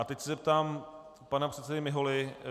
A teď se zeptám pana předsedy Miholy.